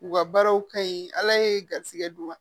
U ka baaraw ka ɲi ala ye garizigɛ d'u ma